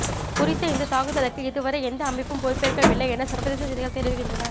குறித்த இந்த தாக்குதலுக்கு இதுவரை எந்த அமைப்பும் பொறுப்பேற்கவில்லை என சர்வதேச செய்திகள் தெரிவிக்கின்றன